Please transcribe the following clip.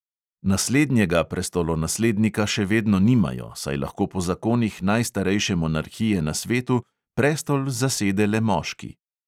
Naslednjega prestolonaslednika še vedno nimajo, saj lahko po zakonih najstarejše monarhije na svetu prestol zasede le moški.